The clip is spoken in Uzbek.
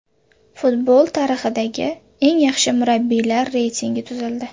Futbol tarixidagi eng yaxshi murabbiylar reytingi tuzildi.